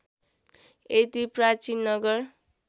यति प्राचीन नगर